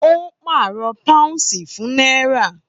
Ó pàrọ̀ pàúnsì fún náírà